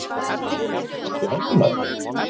Og þessvegna sé hann ánægður